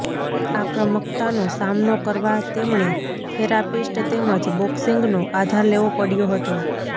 આક્રમકતાનો સામનો કરવા તેમણે થેરાપીસ્ટ તેમજ બોક્સિંગનો આધાર લેવો પડ્યો હતો